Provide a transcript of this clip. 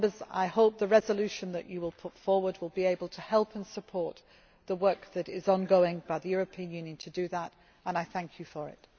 I hope the resolution that you will put forward will be able to help and support the work that is ongoing by the European Union to do that and I thank you for it.